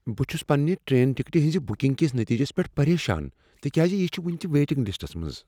بہٕ چھس پننہ ٹرین ٹکٹِہ ہٕنز بکنگ کس نٔتیٖجس پؠٹھ پریشان تکیاز یہ چھ وٕنہ تہ ویٹنگ لسٹس منٛز۔